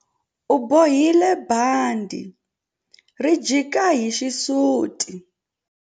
U bohile bandhi ri jika hi xisuti.